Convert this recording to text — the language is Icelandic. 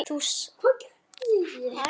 Þú sagðir það í gær.